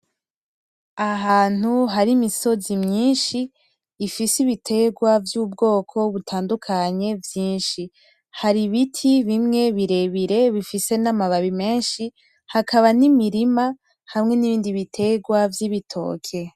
Ahantu hari imisozi myinshi ifise ibiterwa vy'ubwoko butandukanye vyinshi, hari ibiti bimwe birebire bifise n'amababi menshi hakaba n'imirima hamwe n'ibindi biterwa vy'ibitoke.